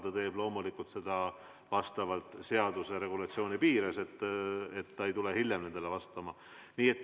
Ta teeb seda loomulikult seaduse regulatsiooni piires, ta ei tule hiljem vastama.